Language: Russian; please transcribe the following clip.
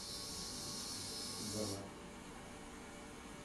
галац